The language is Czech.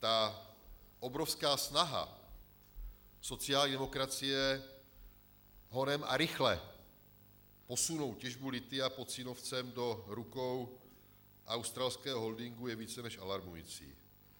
Ta obrovská snaha sociální demokracie honem a rychle posunout těžbu lithia pod Cínovcem do rukou australského holdingu je více než alarmující.